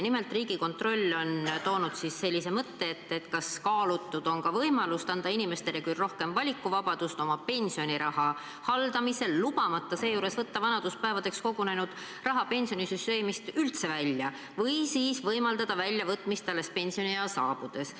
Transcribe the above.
Nimelt, Riigikontroll on esile toonud sellise mõtte, kas on kaalutud ka võimalust anda inimestele küll rohkem valikuvabadust oma pensioniraha haldamisel, ent lubamata seejuures võtta vanaduspäevadeks kogunenud raha pensionisüsteemist varem välja ehk siis võimaldada väljavõtmist alles pensioniea saabudes.